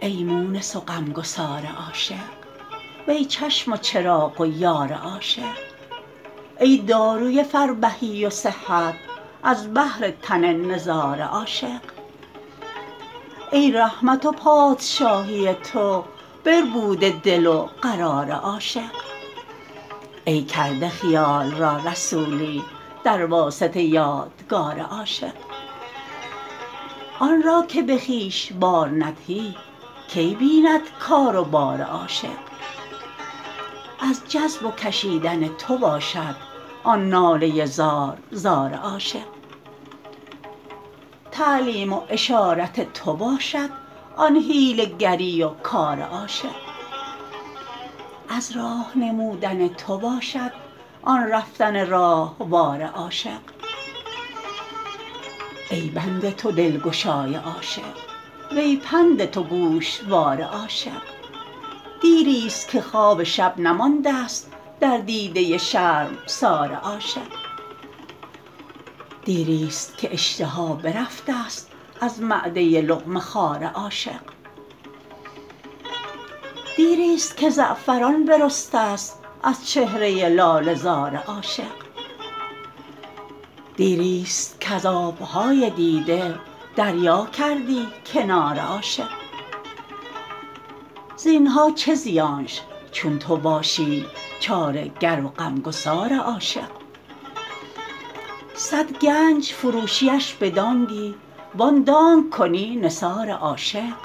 ای مونس و غمگسار عاشق وی چشم و چراغ و یار عاشق ای داروی فربهی و صحت از بهر تن نزار عاشق ای رحمت و پادشاهی تو بربوده دل و قرار عاشق ای کرده خیال را رسولی در واسطه یادگار عاشق آن را که به خویش بار ندهی کی بیند کار و بار عاشق از جذب و کشیدن تو باشد آن ناله زار زار عاشق تعلیم و اشارت تو باشد آن حیله گری و کار عاشق از راه نمودن تو باشد آن رفتن راهوار عاشق ای بند تو دلگشای عاشق وی پند تو گوشوار عاشق دیرست که خواب شب نمانده است در دیده شرمسار عاشق دیرست که اشتها برفتست از معده لقمه خوار عاشق دیرست که زعفران برستست از چهره لاله زار عاشق دیرست کز آب های دیده دریا کردی کنار عاشق زین ها چه زیانش چون تو باشی چاره گر و غمگسار عاشق صد گنج فروشیش به دانگی وان دانگ کنی نثار عاشق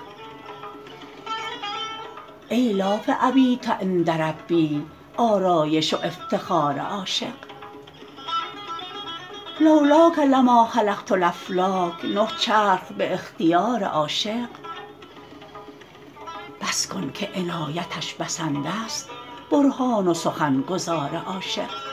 ای لاف ابیت عند ربی آرایش و افتخار عاشق لو لاک لما خلقت الافلاک نه چرخ به اختیار عاشق بس کن که عنایتش بسنده است برهان و سخن گزار عاشق